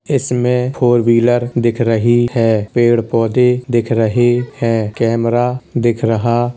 इसमें four wheeler दिख रही है। पेड़ पौधे दिख रहे है। कैमरा दिख रहा --